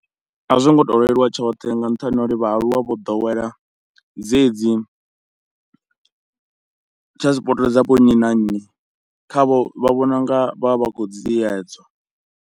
A zwo ngo tou leluwa tshoṱhe nga nṱhani ho uri vhaaluwa vho ḓowela dzedzi transport dza vho nnyi na nnyi, khavho vha vhona u nga vha vha vha khou dziedzwa.